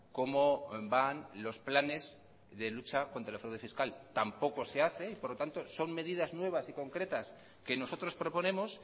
cómo van los planes de lucha contra el fraude fiscal tampoco se hace y por lo tanto son medidas nuevas y concretas que nosotros proponemos